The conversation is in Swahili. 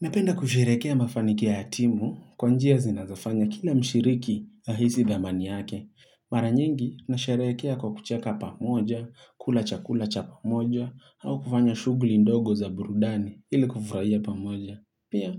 Napenda kusherekea mafanikio ya timu kwa njia zinazofanya kila mshiriki ya hisi dhamani yake. Mara nyingi, nasherekea kwa kucheka pamoja, kula chakula cha pamoja, au kufanya shughuli ndogo za burudani ili kufurahia pamoja. Pia,